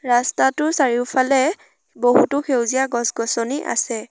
ৰস্তাটোৰ চাৰিওফালে বহুতো সেউজীয়া গছ-গছনি আছে।